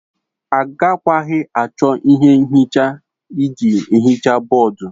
Agakwaghị achọ ihe nhicha iji hichaa bọọdụ.